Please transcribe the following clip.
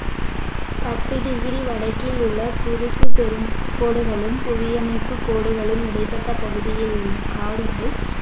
பத்து டிகிரி வடக்கில் உள்ள குறுக்கு பெரும் கோடுகளும் புவியணைப்பு கோடுகளும் இடைப்பட்ட பகுதியில் உள்ள காடுகள்